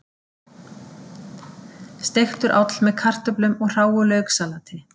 Steiktur áll með kartöflum og hráu lauksalati